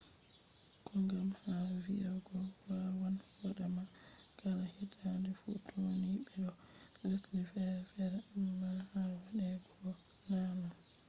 kogam ha vii’ego wawan wadama kala hitaade fuutoninii be doo lesde fere fere, ammaa ha wade go boo na non